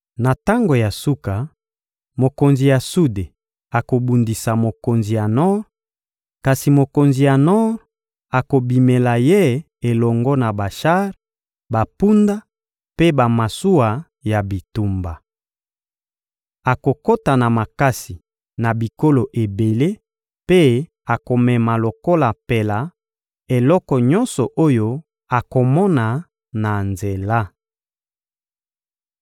Na tango ya suka, mokonzi ya sude akobundisa mokonzi ya nor, kasi mokonzi ya nor akobimela ye elongo na bashar, bampunda mpe bamasuwa ya bitumba. Akokota na makasi na bikolo ebele mpe akomema lokola mpela eloko nyonso oyo akomona na nzela.